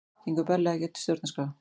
Gengur berlega gegn stjórnarskrá